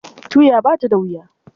Tuya ba ta da wuya.